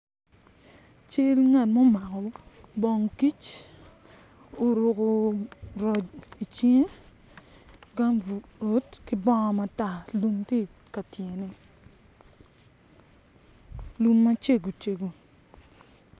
Cal ngat ma omako bong kic oruko roc icinge kambut ki bongo matar lum tye i ka tyene lum macego cego.